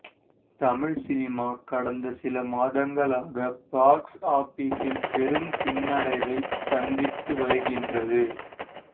Tamil cinema கடந்த சில மாதங்களாக பாக்ஸ் ஆபிஸில் பெரும் பின்னடைவை சந்தித்து வருகின்றது